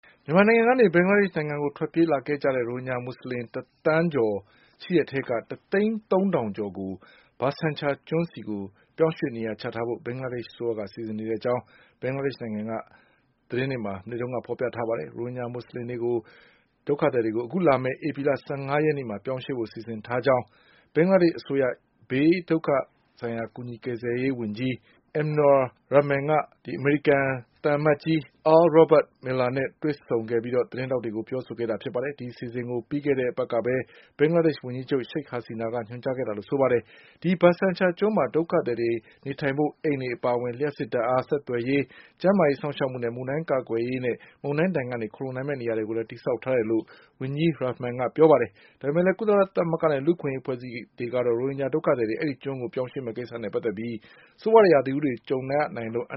မြန်မာနိုင်ငံကနေ ဘင်္ဂလားဒေ့ရှ် နိုင်ငံကို ထွက်ပြေးလာခဲ့ကြတဲ့ ရိုဟင်ဂျာ မူဆလင်တသန်းကျော် ရှိတဲ့အထဲက ၁ သိန်းသုံး ထောင်ကျော်ကို ဘာဆန်ချာကျွန်းဆီပြောင်းရွှေ့နေရာချထားဖို့ ဘင်္ဂလားဒေ့ရှ် အစိုးရက စီစဉ်နေတဲ့အကြောင်း ဘင်္ဂလား ဒေ့ရှ် နိုင်ငံကသတင်းတွေမှာ မနေ့ကဖေါ်ပြထားပါတယ်။ ရိုဟင်ဂျာမူဆလင်ဒုက္ခသည်တွေ အခုလမယ့်ဧပြီလ ၁၅ရက်နေ့ မှာ ပြောင်းရွှေ့ဖို့စီစဉ်ထားကြောင်း ဘင်္ဂလားဒေ့ရှ် အစိုးရဘေးဒုက္ခကူညီ ကယ်ဆယ်ရေး ဝန်ကြီး Md Enamur Rahman က ဘင်္ဂလားဒေ့ရှ် ဆိုင်ရာ အမေရိကန်သံအမတ်ကြီး Earl Robert Miller နဲ့တွေ့ဆုံမှု အပြီး သတင်းထောက်တွေ ကိုပြောခဲ့ပါတယ်။ ဒီအစီအစဉ်ကို ပြီးခဲ့တဲ့ အပတ်ကပဲ ဘင်္ဂလားဒေ့ရှ် ဝန်ကြီးချုပ် ရှိခ်ဟာစီနာ ကညွှန်ကြားခဲ့တာလို့ဆိုပါ တယ်။ အဲဒီ ဘာဆန်ချာကျွန်းမှာ ဒုက္ခသည် တွေနေထိုင်ဖို့ အိမ်တွေအပါအဝင် လျှပ်စစ်ဓါတ်အား၊ ဆက်သွယ်ရေး၊ ကျန်း မာရေး စောင့်ရှောက်မှု၊ မုန်တိုင်းကာကွယ်ရေး နဲ့ မုန်တိုင်းဒဏ်ကနေ ခိုလှုံနိုင်မယ့်နေရာတွေ ကိုလည်း တည်ဆောက် ထားတယ်လို့ ဝန်ကြီး Rahman ကပြောပါတယ်။ ဒါပေမဲ့လည်း ကုလသမဂ္ဂနဲ့ လူအခွင့်အရေးအဖွဲ့အစည်းတွေ ကတော့ ရိုဟင်ဂျာဒုက္ခသည်တွေကို ဘာဆန်ချာကျွန်း ကိုရွှေ့ပြောင်းမယ့်ကိစ္စနဲ့ပတ်သက်ပြီး ဆိုးဝါးတဲ့ ရာသီဥတုတွေကြုံရနိုင်လို့ အန